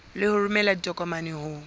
le ho romela ditokomane ho